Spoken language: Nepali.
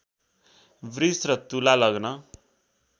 वृष र तुला लग्न